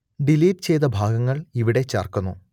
delete ചെയ്ത ഭാഗങ്ങൾ ഇവിടെ ചേർക്കുന്നു